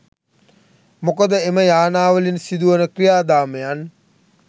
මොකද එම යානාවලින් සිදුවන ක්‍රියාදාමයන්